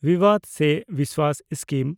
ᱵᱤᱵᱟᱰ ᱥᱮ ᱵᱤᱥᱣᱟᱥ ᱥᱠᱤᱢ